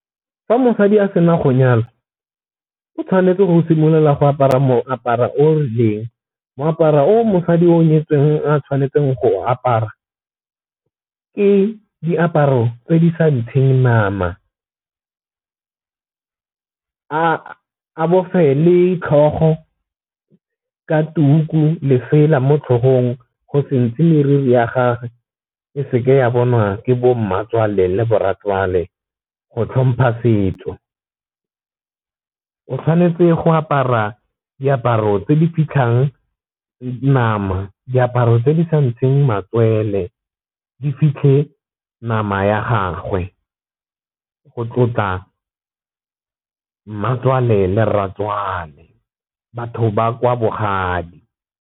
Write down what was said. Fa mosadi a sena go nyala o tshwanetse go simolola go apara moaparo o rileng, moaparo o mosadi o nyetsweng a tshwanetseng go apara ke diaparo tse di sa ntsheng nama, a bofe le tlhogo ka tuku lesela mo tlhogong go sentse mariri ya gage e seke ya bonwa ke bo mmatswale le borai jwale go tlhompha setso. O tshwanetse go apara diaparo tse di fitlhang nama diaparo tse di sa ntsheng matswele di fitlhe nama ya gagwe go tlotla mmatswale o rratswale batho ba kwa bogadi.